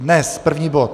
Dnes první bod.